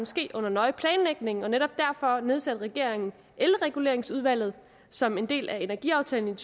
ske under nøje planlægning og netop derfor nedsatte regeringen elreguleringsudvalget som en del af energiaftalen